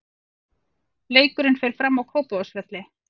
Leikurinn fer fram á Kópavogsvelli.